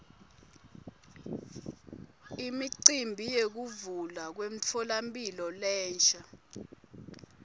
imicimbi yekuvulwa kwemtfolamphilo lensha